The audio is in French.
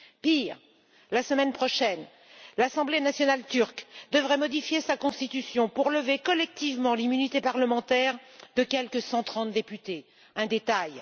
Pire, la semaine prochaine, l'assemblée nationale turque devrait modifier sa constitution pour lever collectivement l'immunité parlementaire de quelque 130 députés. Un détail!